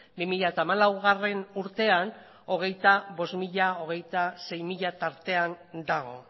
bi mila hamalauurtean hogeita hamabostzero hogeita hamaseizero tartean dago